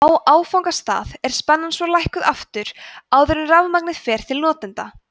á áfangastað er spennan svo lækkuð aftur áður en rafmagnið fer til notenda